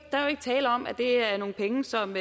tale om at det er nogle penge som